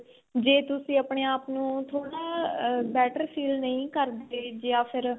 ਜੇ ਤੁਸੀਂ ਆਪਣੇ ਆਪ ਨੂੰ ਥੋੜਾ better feel ਨਹੀਂ ਕਰਦੇ ਜਾਂ ਫੇਰ